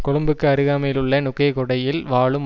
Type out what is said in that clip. கொழும்புக்கு அருகாமையில் உள்ள நுகேகொடையில் வாழும்